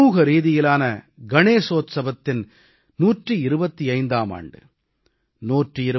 இந்த ஆண்டு சமூகரீதியிலான கணேச உற்சவத்தின் 125ஆம் ஆண்டு